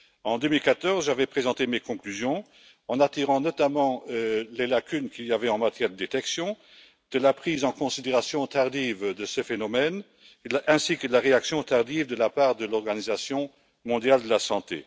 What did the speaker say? En 2014, j'avais présenté mes conclusions en attirant notamment l'attention sur les lacunes qu'il y avait en matière de détection, sur la prise en considération tardive de ce phénomène, ainsi que sur la réaction tardive de la part de l'Organisation mondiale de la santé.